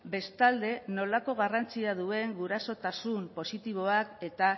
bestalde nolako garrantzia duen gurasotasun positiboak eta